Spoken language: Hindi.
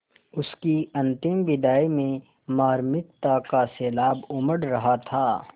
उसकी अंतिम विदाई में मार्मिकता का सैलाब उमड़ रहा था